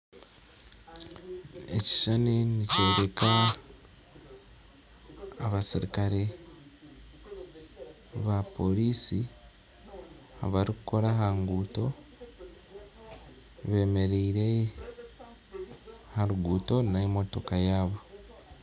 Ekishushani nikyoreka abasirikare bapoolisi abarikukora aha nguuto bemeriire aha ruguuto n'emotoka yaabo